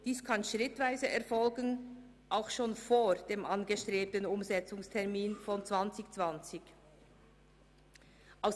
Dies kann schrittweise erfolgen, auch schon vor dem angestrebten Umsetzungstermin im Jahr 2020.